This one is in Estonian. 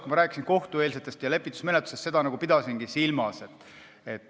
Kui ma rääkisin kohtueelsest ja lepitusmenetlusest, siis ma seda pidasingi silmas.